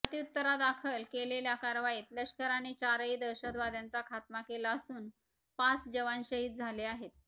प्रत्युत्तरादाखल केलेल्या कारवाईत लष्कराने चारही दहशतवाद्यांचा खात्मा केला असून पाच जवान शहीद झाले आहेत